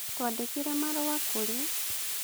Twandĩkĩre marũa kũrĩ: